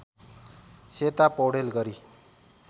सेता पौडेल गरी